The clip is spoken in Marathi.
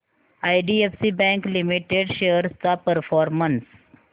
आयडीएफसी बँक लिमिटेड शेअर्स चा परफॉर्मन्स